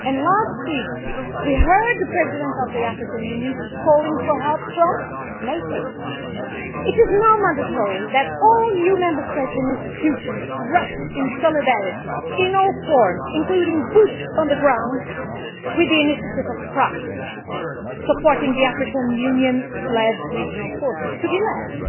Last week we heard the President of the African Union calling for help from NATO. It is now mandatory that all EU Member States and institutions rush in solidarity in all forms, including boots on the ground, with the initiative of France, supporting the African Union led regional forces, in the lead.